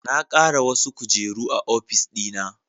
Na kara wasu kujeru a ofis dina